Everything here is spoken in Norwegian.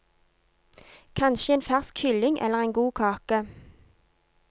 Kanskje en fersk kylling eller en god kake.